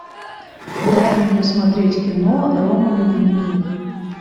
дай мне посмотреть кино ромовый дневник